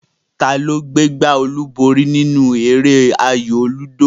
Ta gbé gbá olúborí nínú eré ayò lúdò?